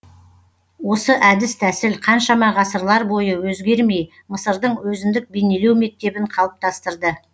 осы әдіс тәсіл қаншама ғасырлар бойы өзгермей мысырдың өзіндік бейнелеу мектебін қалыптастырды